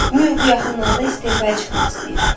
Mur bu yaxınlarda istefaya çıxmaq istəyir.